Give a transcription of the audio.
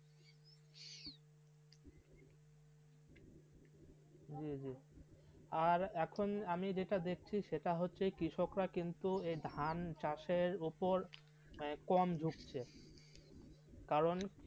জি জি আর আমি যেটা দেখছি সেটা হচ্ছে কৃষক রা কিন্তু ধান চাষের উপপের কম ঝুঁকছে কারণ